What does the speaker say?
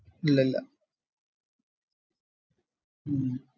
ഇല്ലില്ല ഹും